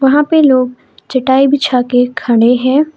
यहां पे लोग चटाई बिछा के खड़े हैं।